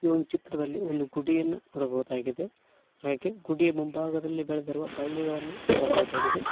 ಈ ಒಂದು ಚಿತ್ರದಲ್ಲಿ ಒಂದು ಗುಡಿಯನ್ನು ನೋಡಬಹುದಾಗಿದೆ ಹಾಗೆ ಗುಡಿಯ ಮುಂಭಾಗದಲ್ಲಿ ಬೆಳೆದಿರುವ ಬಳ್ಳಿಗಳನ್ನು ನೋಡಬಹುದಾಗಿದೆ.